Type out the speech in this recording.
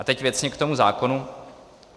A teď věcně k tomu zákonu.